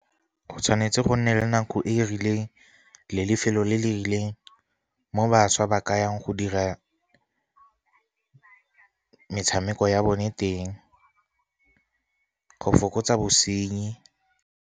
Go tshwanetse go nne le nako e e rileng le lefelo le le rileng, mo bašwa ba ka yang go dira metshameko ya bone teng go fokotsa bosenyi.